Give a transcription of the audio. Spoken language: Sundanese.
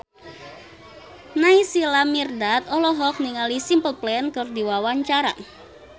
Naysila Mirdad olohok ningali Simple Plan keur diwawancara